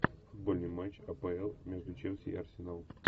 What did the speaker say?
футбольный матч апл между челси и арсеналом